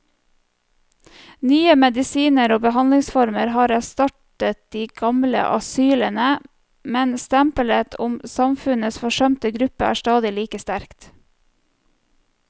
Nye medisiner og behandlingsformer har erstattet de gamle asylene, men stempelet som samfunnets forsømte gruppe er stadig like sterkt.